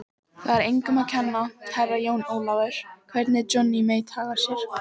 Það er engum að kenna, Herra Jón Ólafur, hvernig Johnny Mate hagar sér.